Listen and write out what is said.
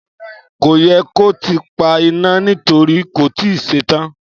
Kò yẹ kó tíì pa ìna nítorí kò tíì ṣe tán